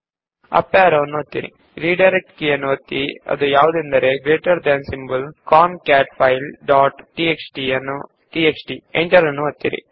up arrow ಕೀಯನ್ನು ಒತ್ತಿ redirect key ಆದ ಗ್ರೇಟರ್ ದೆನ್ ಗುರುತನ್ನು ಒತ್ತಿ ಕಾಂಕ್ಯಾಟ್ಫೈಲ್ ಡಾಟ್ ಟಿಎಕ್ಸ್ಟಿ ನಂತರ ಎಂಟರ್ ಒತ್ತಿ